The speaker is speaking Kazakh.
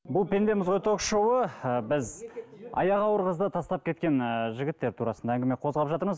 бұл пендеміз ғой ток шоуы ы біз аяғы ауыр қызды тастап кеткен ыыы жігіттер турасында әңгіме қозғап жатырмыз